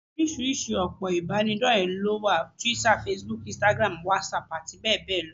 Oríṣìí òpó ìbánidọ́rẹ̀ẹ́ ló wà: Twitter, Facebook, instagram, WhatsApp àti bẹ́ẹ̀ bẹ́ẹ̀ lọ